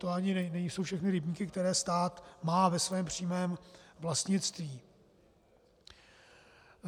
To ani nejsou všechny rybníky, které stát má ve svém přímém vlastnictví.